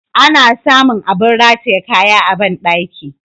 Ana sa mun abin rataye kaya a bandaki.